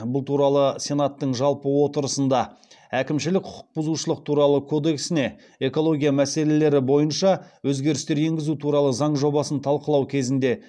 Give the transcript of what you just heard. бұл туралы сенаттың жалпы отырысында әкімшілік құқық бұзушылық туралы кодексіне экология мәселелері бойынша өзгерістер енгізу туралы заң жобасын талқылау кезінде